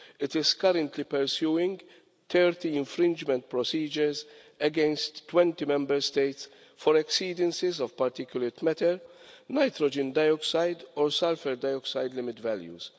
It is currently pursuing 30 infringement procedures against 20 Member States for exceedances of particulate matter, nitrogen dioxide or sulphur dioxide limit values.